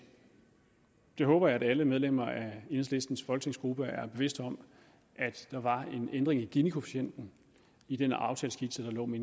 jeg håber at alle medlemmer af enhedslistens folketingsgruppe er bevidst om at der var en ændring i ginikoefficienten i den aftaleskitse der lå med